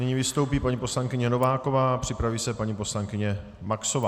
Nyní vystoupí paní poslankyně Nováková a připraví se paní poslankyně Maxová.